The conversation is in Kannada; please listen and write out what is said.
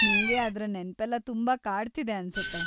ನಿಂಗೆ ಅದ್ರ ನೆನ್ಪೆಲ್ಲ ತುಂಬಾ ಕಾಡ್ತಿದೆ ಅನ್ಸತ್ತೆ.